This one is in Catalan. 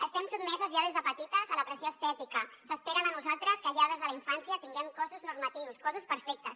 estem sotmeses ja des de petites a la pressió estètica s’espera de nosaltres que ja des de la infància tinguem cossos normatius cossos perfectes